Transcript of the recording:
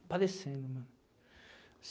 Aparecendo, mano.